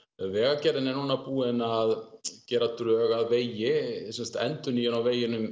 Vegagerðin er núna búin að gera drög að vegi sem sagt endurnýjun á veginum